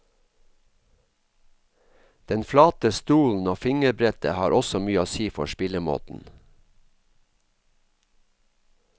Den flate stolen og fingerbrettet har også mye å si for spillemåten.